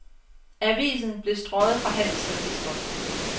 Avisen blev strøget fra handelsregisteret.